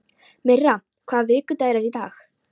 Myrra, hvaða vikudagur er í dag?